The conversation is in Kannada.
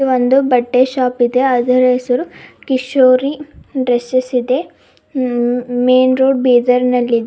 ಇದು ಒಂದು ಬಟ್ಟೆ ಶಾಪ್ ಇದೆ ಅದರ ಹೆಸರು ಕಿಶೋರಿ ಡ್ರೆಸೇಸ್ ಇದೆ ಉ ಮೈನ್ ರೋಡ್ ಬೀದರ್ ನಲ್ಲಿದ್ --